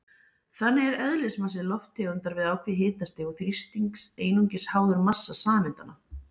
Þannig er eðlismassi lofttegundar við ákveðið hitastig og þrýsting einungis háður massa sameindanna.